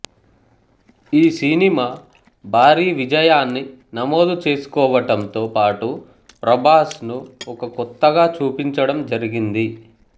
ఈ సినిమా భారీ విజయాన్ని నమోదు చేసుకొవటంతో పాటు ప్రభాస్ ను ఒక కొత్తగా చూపించడం జరిగింది